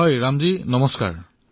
হয় ৰাম নমস্কাৰ